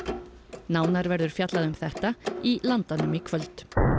nánar verður fjallað um þetta í Landanum í kvöld